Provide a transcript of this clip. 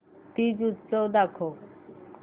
तीज उत्सव दाखव